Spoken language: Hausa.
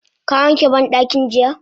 Ka wanke bandakin jiya?